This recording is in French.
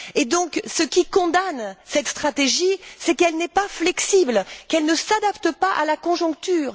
Et donc ce qui condamne cette stratégie, c'est qu'elle n'est pas flexible, qu'elle ne s'adapte pas à la conjoncture.